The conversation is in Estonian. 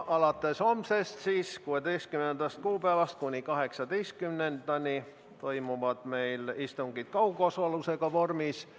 Alates homsest ehk siis 16. kuupäevast kuni 18-ndani toimuvad meil istungid kaugosalusega vormis.